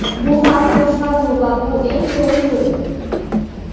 Bu xalq boshqaruvi va bu eng to‘g‘ri yo‘l.